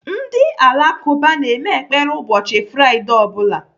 Ndị Alakụba na-eme ekpere ụbọchị fraidee ọbụla.